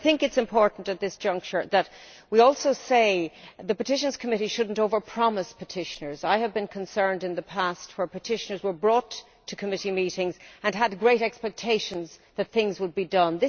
I think it is important at this juncture that the Petitions Committee shouldn't over promise petitioners. I have been concerned in the past for petitioners who were brought to Committee meetings and had great expectations that things would be done.